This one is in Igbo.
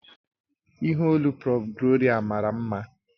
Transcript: Ìhè olu prọ̀f Gloria mara mma